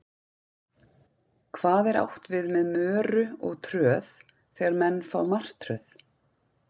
Hvað er átt við með möru og tröð þegar menn fá martröð?